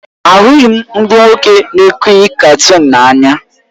Ahụghị m ndị nwoke na-ekiri katuunu n'anya